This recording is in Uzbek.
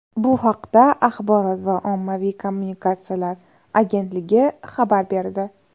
Bu haqda Axborot va ommaviy kommunikatsiyalar agentligi xabar berdi .